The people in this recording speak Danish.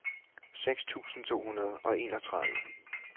seks tusind to hundrede og enogtredive